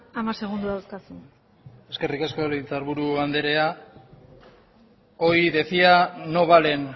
hamar segundo dauzkazu eskerrik asko legebiltzar buru anderea hoy decía no valen